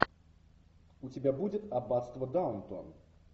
у тебя будет аббатство даунтон